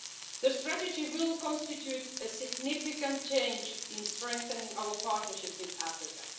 The strategy will constitute a significant change in strengthening our partnership with Africa.